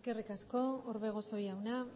eskerrik asko orbegozo jauna